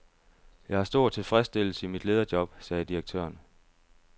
Jeg har stor tilfredsstillelse i mit lederjob, sagde direktøren.